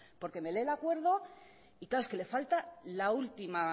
porque me lee el acuerdo y claro es que le falta